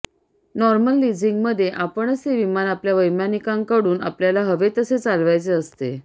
normal लिझिंगमध्ये आपणच ते विमान आपल्या वैमानिकांकडून आपल्याला हवे तसे चालवायचे असते